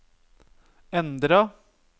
endra